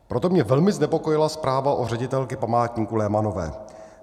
Proto mě velmi znepokojila zpráva o ředitelce památníku Lehmannové.